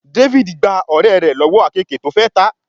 David gbà ọ̀rẹ́ rẹ̀ lọ́wọ́ àkeekèé tó fè tá.